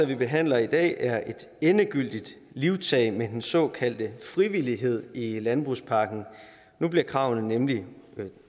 vi behandler i dag er et endegyldigt livtag med den såkaldte frivillighed i landbrugspakken nu bliver kravene nemlig